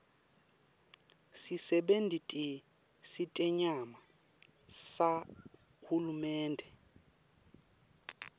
sisebenti setenyama sahulumende